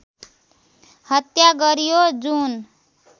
हत्या गरियो जुन